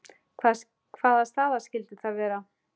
Hvaða staða skyldi það vera?